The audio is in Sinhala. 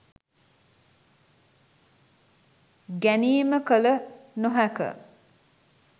ගැනීම කළ නොහැක